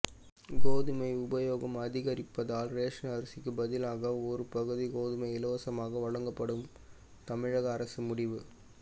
கோதுமை உபயோகம் அதிகரிப்பதால் ரேஷன் அரிசிக்கு பதிலாக ஒரு பகுதி கோதுமை இலவசமாக வழங்கப்படும் தமிழக அரசு முடிவு